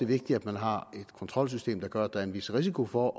vigtigt at man har et kontrolsystem der gør at der er en vis risiko for